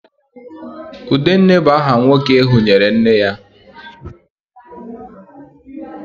Udenne bu aha nwoke ehunyere nne ya